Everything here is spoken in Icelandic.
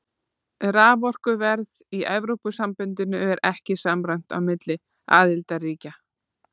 Raforkuverð í Evrópusambandinu er ekki samræmt á milli aðildarríkja.